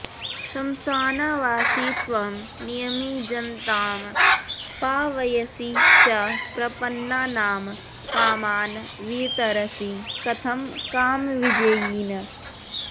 श्मशानावासी त्वं नियमिजनतां पावयसि च प्रपन्नानां कामान् वितरसि कथं कामविजयिन्